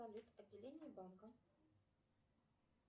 салют отделение банка